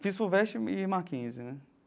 Fiz Fuvest e Mackenzie, né?